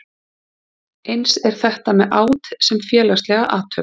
Eins er þetta með át sem félagslega athöfn.